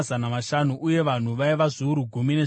uye vanhu vaiva zviuru gumi nezvitanhatu.